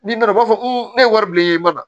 N'i nana u b'a fɔ ne ye wari bilen i mana